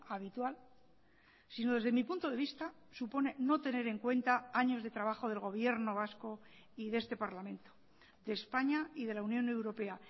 habitual sino desde mi punto de vista supone no tener en cuenta años de trabajo del gobierno vasco y de este parlamento de españa y de la unión europea